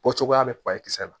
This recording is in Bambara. Bɔ cogoya bɛ kisɛ la